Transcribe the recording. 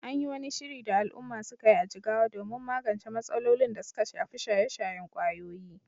An yi wani shiri da al’umma suka yi a Jigawa domin magance matsalolin da suka shafi shaye-shayen ƙwayoyi